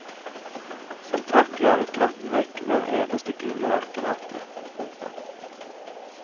Som takk jaget katten vekk hver eneste gule ørkenrotte. punktum